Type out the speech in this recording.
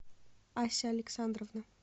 ася александровна